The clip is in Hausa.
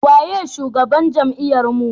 waye shugaban jami'ar mu?